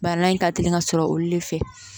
Bana in ka teli ka sɔrɔ olu de fɛ